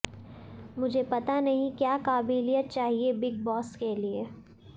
मुझे पता नहीं क्या काबिलियत चाहिए बिग बॉस के लिए